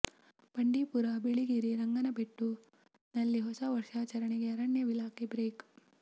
ಬಂಡಿ ಪುರ ಬಿಳಿ ಗಿರಿ ರಂಗನಬೆಟ್ಟು ನಲ್ಲಿ ಹೊಸ ವರ್ಷಾಚರಣೆಗೆ ಅರಣ್ಯ ಇಲಾಖೆ ಬ್ರೇಕ್